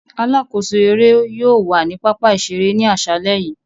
Alakoso ere yóò wa ni papa-iṣere ni aṣalẹ yii.